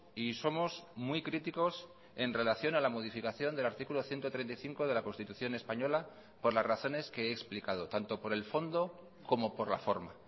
y somos muy críticos en relación a la modificación del artículo ciento treinta y cinco de la constitución española por las razones que he explicado tanto por el fondo como por la forma